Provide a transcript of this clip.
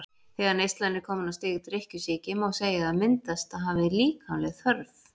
Þegar neyslan er komin á stig drykkjusýki má segja að myndast hafi líkamleg þörf.